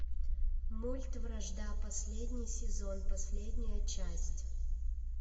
мульт вражда последний сезон последняя часть